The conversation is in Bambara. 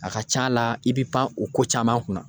A ka ca la i be pan o ko caman kun na.